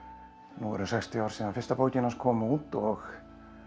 nú eru sextíu ár síðan fyrsta bókin hans kom út og